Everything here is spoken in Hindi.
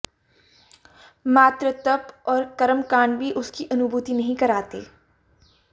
मात्र तप और कर्मकांड भी उसकी अनुभूति नहीं कराते